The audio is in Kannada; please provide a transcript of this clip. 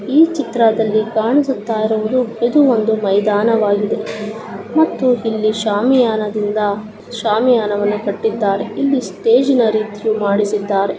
ಈ ಚಿತ್ರದಲ್ಲಿ ಕಾಣಿಸುತ್ತಾ ಇರುವುದು ಇದು ಒಂದು . ಮೈದಾನವಾಗಿದೆ ಇಲ್ಲಿ ಶಾಮಿಯಾನದಿಂದ ಶಾಮಿಯಾನವನ್ನು ಕಟ್ಟಿದ್ದಾರೆ. ಇಲ್ಲಿ ಒಂದು ಸ್ಟೇಜನ್ನು ಮಾಡಿಸಿದ್ದಾರೆ.